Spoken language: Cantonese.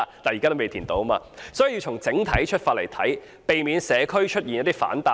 我們要從整體出發來看事情，避免社區出現反彈。